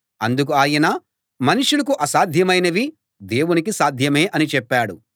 అందుకు ఆయన మనుష్యులకు అసాధ్యమైనవి దేవునికి సాధ్యమే అని చెప్పాడు